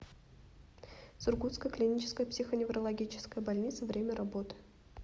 сургутская клиническая психоневрологическая больница время работы